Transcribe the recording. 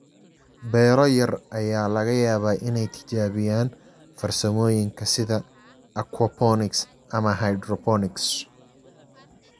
Beero yar ayaa laga yaabaa inay tijaabiyaan farsamooyinka sida aquaponics ama hydroponics.